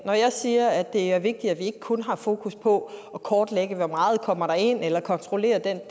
når jeg siger at det er vigtigt at vi ikke kun har fokus på at kortlægge hvor meget der kommer ind eller kontrollere den